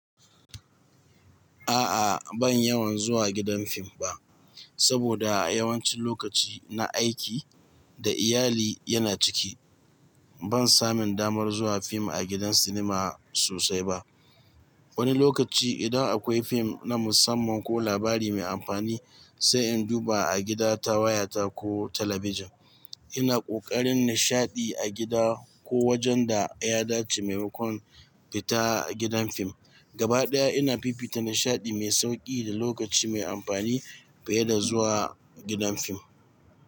A'a ban yawan zuwa gidan fim ba, saboda yawancin lokaci na aiki da iyali yana ciki. Ban samin damar zuwa fim a gidan sinima sosai ba. Wani lokaci idan akwai fim na musamman ko labari mai amfani sai in duba a gida ta wayata ko talabijin. Ina ƙoƙarin nishaɗi a gida ko wajen da ya dace maimakon fita gidan fim. Gabaɗaya ina fifita nishaɗi mai sauƙi da lokaci mai amfani fiye da zuwa gidan fim.